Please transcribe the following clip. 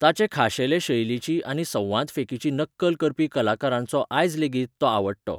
ताचे खाशेले शैलिची आनी संवादफेकीची नक्कल करपी कलाकारांचो आयज लेगीत, तो आवडटो.